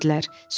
Gözlədilər.